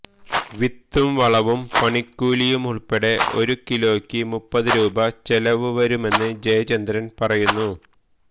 വിത്തും വളവും പണിക്കൂലിയുമുള്പ്പെടെ ഒരുകിലോയ്ക്ക് മൂപ്പതുരൂപ ചെലവുവരുമെന്ന് ജയചന്ദ്രന് പറയുന്നു